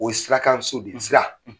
O ye sira kan so de ye Sira.